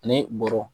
Ani bɔrɔ